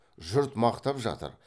жұрт мақтап жатыр